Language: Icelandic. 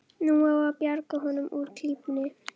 Nú á að bjarga honum úr klípunni.